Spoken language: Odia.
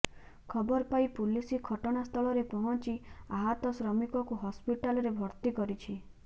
ଖବର ପାଇ ପୁଲିସ ଘଟଣା ସ୍ଥଳରେ ପହଞ୍ଚି ଆହତ ଶ୍ରମିକଙ୍କୁ ହସ୍ପିଟାଲରେ ଭର୍ତ୍ତି କରିଛି